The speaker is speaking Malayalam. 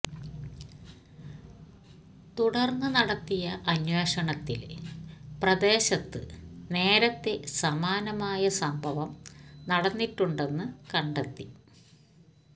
തുടര്ന്ന് നടത്തിയ അന്വേഷണത്തില് പ്രദേശത്ത് നേരത്തെ സമാനമായ സംഭവം നടന്നിട്ടുണ്ടെന്ന് കണ്ടെത്തി